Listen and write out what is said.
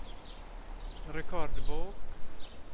rekordbok